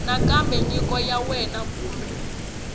nakambe nyiko ya wena kumbe